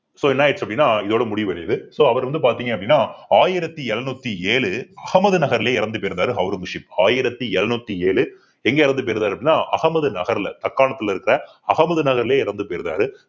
so என்ன ஆயிடுச்சு அப்படின்னா இதோட முடிவடையுது so அவர் வந்து பார்த்தீங்க அப்படின்னா ஆயிரத்தி எழுநூத்தி ஏழு அகமது நகர்லயே இறந்து போயிருந்தாரு ஔரங்கசீப் ஆயிரத்தி எழுநூத்தி ஏழு எங்க இறந்து போயிருந்தாரு அப்படின்னா அகமது நகர்ல தக்காணத்துல இருக்கிற அகமது நகர்லயே இறந்து போயிருக்காரு